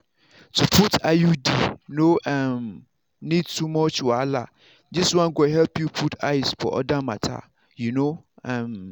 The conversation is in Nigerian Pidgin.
to put iud no um need too much wahala this one go help you put eyes for other matter. you know. um